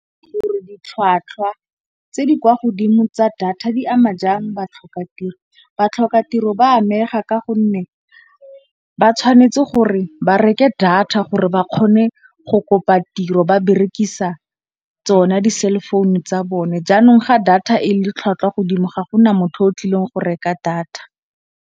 Puo ditlhwatlhwa tse di kwa godimo tsa data di ama jang batlhokatiro. Batlhokatiro ba amega ka gonne ba tshwanetse gore ba reke data gore ba kgone go kopa tiro ba berekisa tsona di cell phone tsa bone. Jaanong, ga data e le tlhwatlhwa godimo ga gona motho o tlileng go reka data.